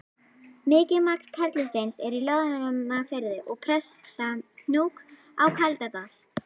Mikið magn perlusteins er í Loðmundarfirði og Prestahnúk á Kaldadal.